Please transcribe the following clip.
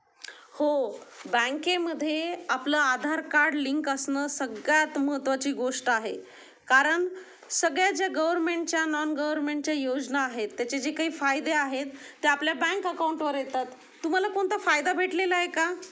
हो बँके मध्ये आपलं आधार कार्ड लिंक असणं सगळ्यात महत्त्वाची गोष्ट आहे कारण सगळे जे गव्हर्नमेंटच्या नॉन गव्हर्नमेंटच्या योजना आहे त्याचे जे काही फायदे आहेत ते आपल्या बँक अकाउंट वर येतात तुम्हाला कोणता फायदा भेटलेला आहे का.